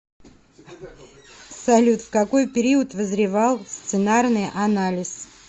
салют в какой период вызревал сценарный анализ